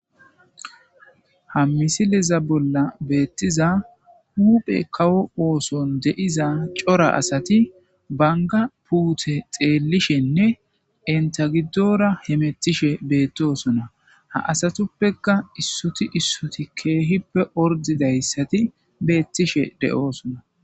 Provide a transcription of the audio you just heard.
ha misileza bolla beettiza huphe kawo ooson de7iza cora asati banga puute xeellishenne enta giddoora hemettishe beettosona ha asatuppeka issuti issuti keehippe ordidayssati beettishe de7oosona.